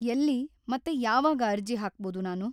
ಎಲ್ಲಿ ಮತ್ತೆ ಯಾವಾಗ್ ಅರ್ಜಿ ಹಾಕ್ಬಹುದು ನಾನು?